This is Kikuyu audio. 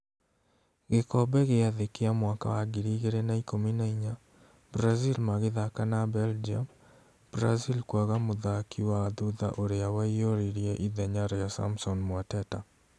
Gĩkombe gĩa thĩ kĩa mwaka wa ngiri igĩrĩ na ikũmi na inya Brazil magĩthaka na Belgium, Brazil kwaga mũthaki wa thutha ũrĩa waiyũririe ithenya rĩa Samson Mwateta